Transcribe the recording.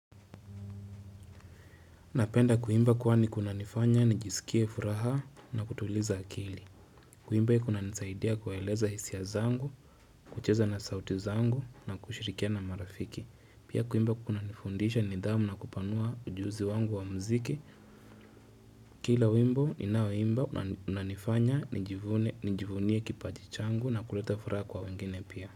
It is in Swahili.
Napenda kuimba kwani kuna nifanya nijisikie furaha na kutuliza akili. Kuimba kunanisaidia kueleza hisia zangu, kucheza na sauti zangu na kushirikia na marafiki. Pia kuimba kunanifundisha nidhamu na kupanua ujuzi wangu wa mziki. Kila wimbo ninaoimba unanifanya nijivunie kipajichangu na kuleta furaha kwa wengine pia.